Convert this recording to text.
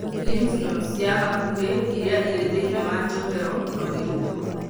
Lymph nodes cia hakuhĩ iria irĩ thĩinĩ wa njohero no irutwe.